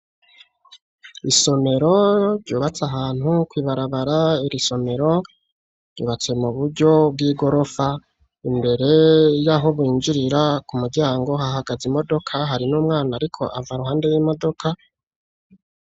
Isomero ryubatse ahantu kw'ibarabara. Iri somero ryubatswe mu buryo bw'igorofa. Imbere y'aho binjirira ku muryango hahagaze imodoka, hari n'umwana ariko ava mu modoka.